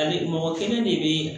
Ali mɔgɔ kelen de be